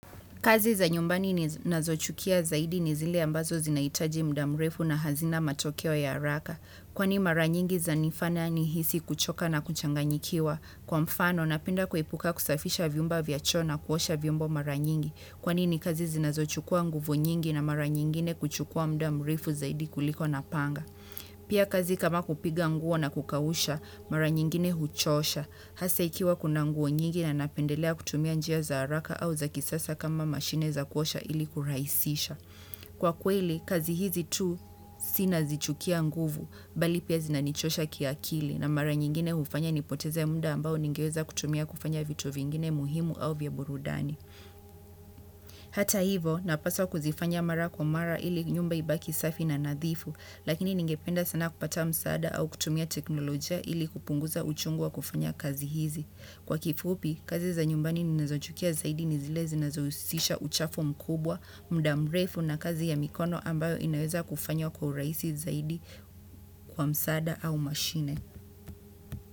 Kazi za nyumbani ninazochukia zaidi ni zile ambazo zinahitaji muda mrefu na hazina matokeo ya haraka kwani mara nyingi zanifanya nihisi kuchoka na kuchanganyikiwa. Kwa mfano, napenda kuepuka kusafisha vyumba vya choo na kuosha vyombo mara nyingi. Kwani ni kazi zinazochukua nguvu nyingi na mara nyingine kuchukua muda mrefu zaidi kuliko napanga. Pia kazi kama kupiga nguo na kukausha, mara nyingine huchosha. Hasa ikiwa kuna nguo nyingi na napendelea kutumia njia za haraka au za kisasa kama mashine za kuosha ili kurahisisha. Kwa kweli, kazi hizi tu si nazichukia nguvu, bali pia zinanichosha kiakili na mara nyingine hufanya nipoteze muda ambao ningeweza kutumia kufanya vitu vingine muhimu au vya burudani. Hata hivo, napaswa kuzifanya mara kwa mara ili nyumba ibaki safi na nadhifu, lakini ningependa sana kupata msaada au kutumia teknolojia ili kupunguza uchungu wa kufanya kazi hizi. Kwa kifupi, kazi za nyumbani ninazochukia zaidi ni zile zinazohusisha uchafu mkubwa, muda mrefu na kazi ya mikono ambayo inaweza kufanywa kwa urahisi zaidi kwa msaada au mashine.